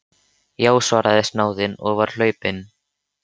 Já, svaraði snáðinn og var hlaupinn.